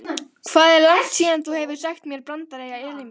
Hvað er langt síðan þú hefur sagt mér brandara Elínborg?